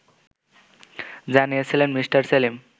জানিয়েছিলেন মি. সেলিম